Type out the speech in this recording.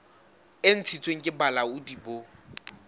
e ntshitsweng ke bolaodi bo